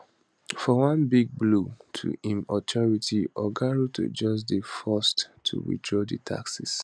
for one big blow to im authority oga ruto just dey forced to withdraw di taxes